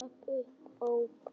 Og rak upp óp.